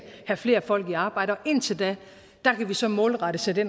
have flere folk i arbejde og indtil da kan vi så målrettet sætte